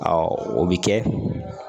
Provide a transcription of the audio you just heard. o bɛ kɛ